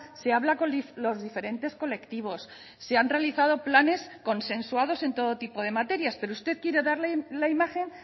se habla con los diferentes colectivos se han realizado planes consensuados en todo tipo de materias pero usted quiere darle la imagen